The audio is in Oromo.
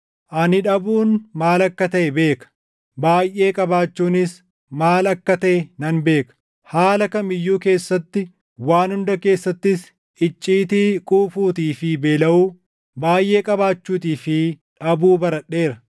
Ani dhabuun maal akka taʼe beeka; baayʼee qabaachuunis maal akka taʼe nan beeka. Haala kam iyyuu keessatti, waan hunda keessattis icciitii quufuutii fi beelaʼuu, baayʼee qabaachuutii fi dhabuu baradheera.